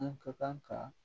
An ka kan ka